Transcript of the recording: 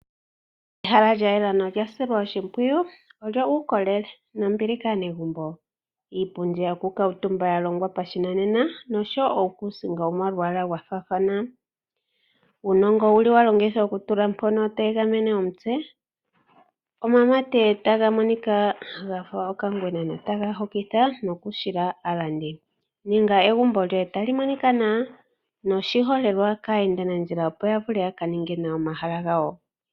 Ehala ya lyela nolya silwa oshimpwiyu olyo uukolele nombili kaanegumbo. Iipundi yokukuutumba yalongwa pashinanena nosho wo uukuusinga womalwaala ga faathana. Uunongo owa longithwa okutula mpono to egamene omutse, omamate taga monika gafa okangwena notaga hokitha nokuhila aalandi. Ninga egumbo lyoye tali monika nawa noshiholelwa kaayendanadjila, opo ya vule ya ka ninge nawa omahala gawo.